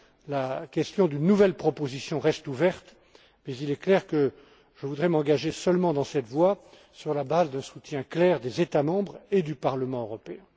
La question d'une nouvelle proposition reste ouverte, mais il est clair que je voudrai seulement m'engager dans cette voie sur la base d'un soutien clair des États membres et du Parlement européen.